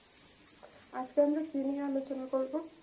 আজকে আমরা কি নিয়ে আলোচনা করব?